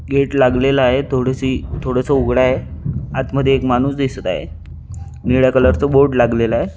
Gate लागलेला आहे थोडेसे थोडासा उगडा आहे आत मध्ये एक माणूस उभा दिसत आहे निळ्या कलर च बोर्ड लागलेला आहे.